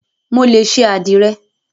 Mo lè ṣe àdìrẹ.